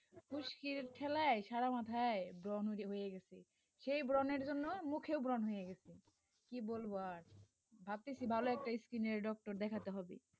খুস্কির ঠেলায় সারা মাথায় ব্রণ বেরিয়ে গেছে, সেই ব্রণের জন্য মুখেও ব্রণ হয়ে গেছে, কি বলব আর, ভাবতেছি ভালো একটা skin এর doctor দেখাতে হবে.